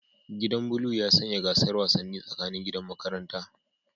Gidan blue ya sanya gasar wasanni tsakanin gidan makaranta